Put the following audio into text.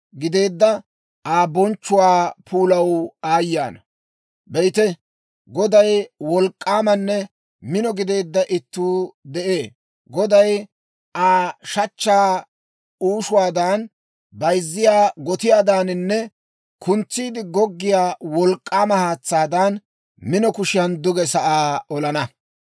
Be'ite, Godaw wolk'k'aamanne mino gideedda itti Asay de'ee; Goday Aa shachchaa uushuwaadan, bayzziyaa gotiyaadaaninne kuntsiide goggiyaa wolk'k'aama haatsaadan, mino kushiyan duge sa'aa olana.